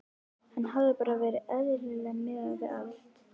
Hafi bara verið eðlileg miðað við allt.